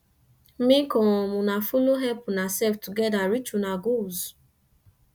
mek um una follow help unasef togeda take reach una goals